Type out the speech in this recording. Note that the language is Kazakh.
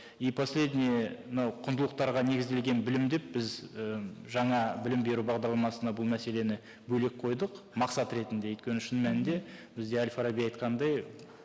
и последнее мынау құндылықтарға негізделген білім деп біз ііі жаңа білім беру бағдарламасына бұл мәселені бөлек қойдық мақсат ретінде өйткені шын мәнінде бізде әл фараби айтқандай